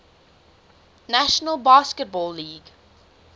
national basketball league